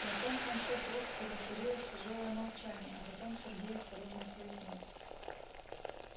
на том конце трубке воцарилось тяжёлое молчание а потом сергей осторожно произнёс